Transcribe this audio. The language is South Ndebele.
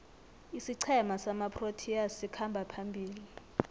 isiqhema samaproteas sikhamba phambili